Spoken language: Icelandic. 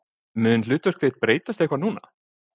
Mun hlutverk þitt breytast eitthvað núna?